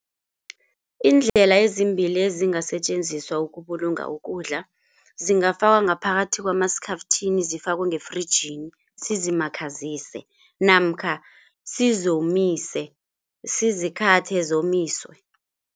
Iindlela ezimbili ezingasetjenziswa ukubulunga ukudla zingafakwa ngaphakathi kwamaskhafthini zifakwe ngefrijini sizimakhazise namkha sizomise sizi-cutter zomiswe.